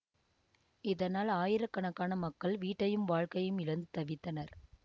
இதனால் ஆயிரக்கணக்கான மக்கள் வீட்டையும் வாழ்க்கையையும் இழந்து தவித்தனர்